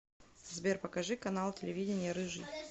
сбер покажи канал телевидения рыжий